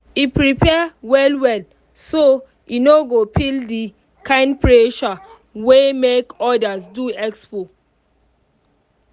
e prepare well well so e no go feel the kind pressure wey make others do expo.